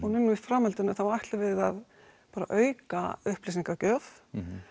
núna í framhaldinu þá ætlum við að auka upplýsingagjöf